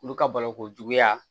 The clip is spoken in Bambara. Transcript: Olu ka balo ko juguya